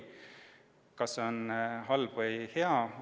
Kas see on halb või hea?